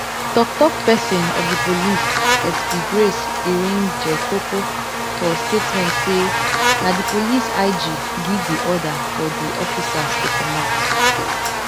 toktok pesin of di police sp grace iringekoko for statement say na di police ig give di order for di officers to comot